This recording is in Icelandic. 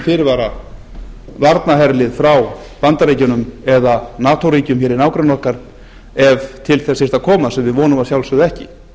fyrirvara varnarherlið frá bandaríkjunum eða nato ríkjum hér í nágrenni okkar ef til þess þyrfti að koma sem við vonum að sjálfsögðu ekki